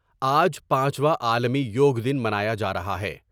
آج پانچواں عالمی یوگ دن منا یا جا رہا ہے ۔